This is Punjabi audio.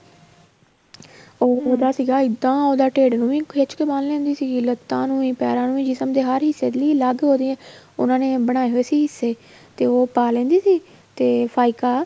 ਉਹਦਾ ਸੀਗਾ ਇੱਦਾਂ ਉਹ ਤਾਂ ਢਿੱਡ ਨੂੰ ਵੀ ਖਿੱਚ ਕੇ ਬਣ ਲੈਂਦੀ ਸੀਗੀ ਲੱਤਾਂ ਨੂੰ ਵੀ ਪੈਰਾ ਨੂੰ ਵੀ ਜਿਸਮ ਨੂੰ ਹਰ ਹਿੱਸੇ ਦੀ ਵੀ ਅਲੱਗ ਹੋ ਰਹੀ ਏ ਉਹਨਾ ਨੇ ਬਣਾਏ ਹੋਏ ਸੀ ਹਿੱਸੇ ਤੇ ਉਹ ਪਾ ਲੈਂਦੀ ਸੀ ਤੇ ਫਾਈਕਾ